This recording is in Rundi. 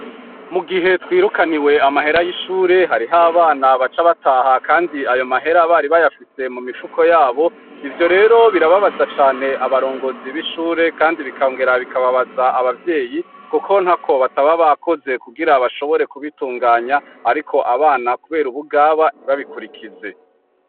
Mu gihe twirukaniwe amahera y'ishure hariho abana baca bataha, kandi ayo mahera bari bayafise mu mifuko yabo ivyo rero birababaza cane abarongozi b'ishure, kandi bikangera bikababaza abavyeyi, kuko nta ko bataba bakoze kugira bashobore kubitunganya, ariko abana, kubera ubugaba ntibabikurikiza ze.